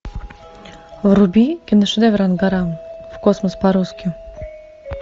вруби киношедевр ангара в космос по русски